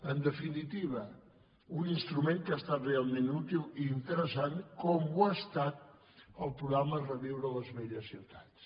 en definitiva un instrument que ha estat realment útil i interessant com ho ha estat el programa reviure les velles ciutats